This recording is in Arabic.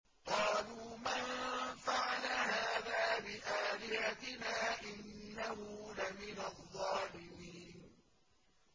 قَالُوا مَن فَعَلَ هَٰذَا بِآلِهَتِنَا إِنَّهُ لَمِنَ الظَّالِمِينَ